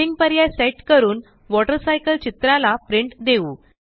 printing पर्याय set करून water cycle चित्राला प्रिंट देऊ